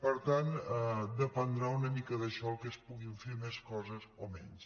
per tant dependrà una mica d’això que es puguin fer més coses o menys